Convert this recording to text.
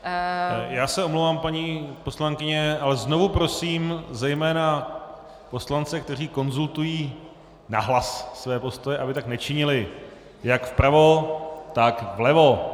Já se omlouvám, paní poslankyně, ale znovu prosím zejména poslance, kteří konzultují nahlas své postoje, aby tak nečinili, jak vpravo, tak vlevo.